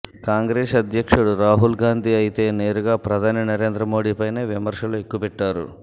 కాంగ్రెస్ అధ్యక్షు రాహుల్ గాంధీ అయితే నేరుగా ప్రధాని నరేంద్ర మోడీపైనే విమర్శలను ఎక్కుపెట్టారు